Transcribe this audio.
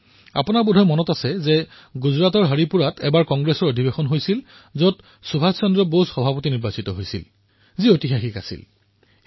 আপোনালোকৰ বোধহয় মনত আছে যে গুজৰাটৰ হৰিপুৰাত কংগ্ৰেছৰ অধিৱেশন বহিছিল যত সুভাষ চন্দ্ৰ বসুৰ অধ্যক্ষ নিৰ্বাচিত হোৱাৰ ঘটনা ইতিহাসত খোদিত কৰা আছে